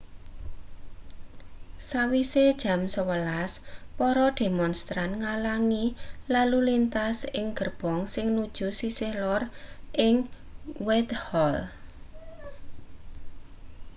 sawise jam 11.00 para demonstran ngalangi lalu lintas ing gerbong sing nuju sisih lor ing whitehall